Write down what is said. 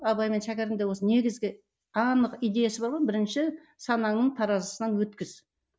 абай мен шәкәрімде осы негізгі анық идеясы бар ғой бірінші санаңның таразысынан өткіз